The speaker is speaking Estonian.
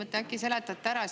Äkki seletate selle ära?